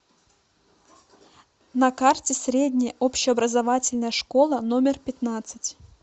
на карте средняя общеобразовательная школа номер пятнадцать